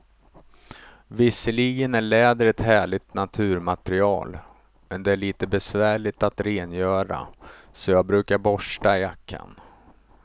Visserligen är läder ett härligt naturmaterial, men det är lite besvärligt att rengöra, så jag brukar borsta jackan.